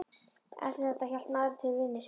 Eftir þetta hélt maðurinn til vinnu sinnar.